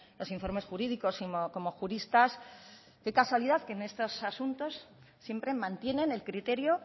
los informes jurídicos como juristas qué casualidad que en estos asuntos siempre mantienen el criterio